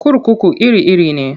Kurkuku iri-iri ne.